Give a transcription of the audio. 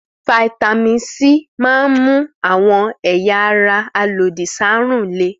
Fataímìn C máa ń mú àwọn ẹ̀yà ara alòdì sáárùn le.